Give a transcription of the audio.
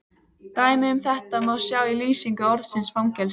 Dæmi um þetta má sjá í lýsingu orðsins fangelsi: